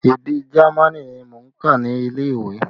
Èdè Jamaní ni mò ń kà nílé ìwé